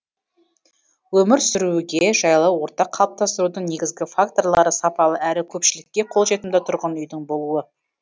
өмір сүруге жайлы орта қалыптастырудың негізгі факторлары сапалы әрі көпшілікке қолжетімді тұрғын үйдің болуы